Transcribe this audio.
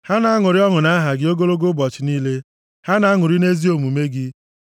Ha na-aṅụrị ọṅụ nʼaha gị ogologo ụbọchị niile; ha na-aṅụrị nʼezi omume gị.